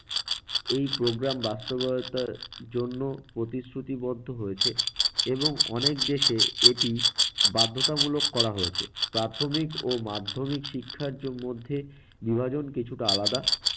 এই programme বাস্তবায়তার জন্য প্রতিশ্রুতিবদ্ধ হয়েছে এবং অনেক দেশে এটি বাধ্যতামূলক করা হয়েছে। প্রাথমিক ও মাধ্যমিক শিক্ষার জ~মধ্যে বিভাজন কিছুটা আলাদা।